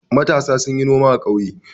Matasa sun yi noma a ƙauye.